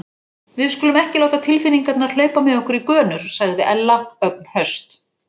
Við skulum ekki láta tilfinningarnar hlaupa með okkur í gönur sagði Ella, ögn höst.